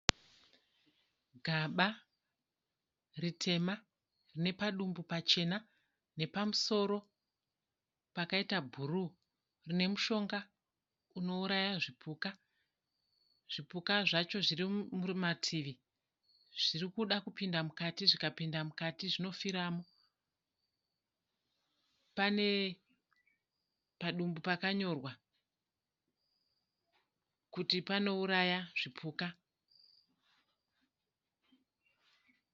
Gamba ritema, nepadumbu pachena, nepamusoro pakaita bhuruwu. Rinemushonga unouraya zvipuka. Zvipuka zvacho zvirimumativi, zvirikuda kupinda mukati. Zvikapinda mukati zvinofiramo. Pane padumbu pakanyorwa kuti panouraya zvipuka.